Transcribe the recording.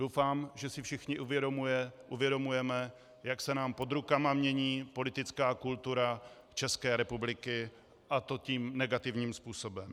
Doufám, že si všichni uvědomujeme, jak se nám pod rukama mění politická kultura České republiky, a to tím negativním způsobem.